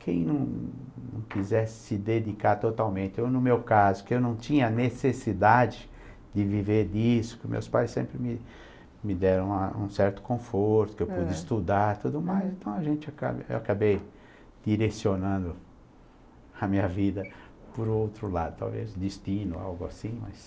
Quem não não quisesse se dedicar totalmente, eu no meu caso, que eu não tinha necessidade de viver disso, que meus pais sempre me me deram um certo conforto, que eu pude estudar e tudo mais, então a gente acaba, eu acabei direcionando a minha vida para o outro lado, talvez destino, algo assim, mas...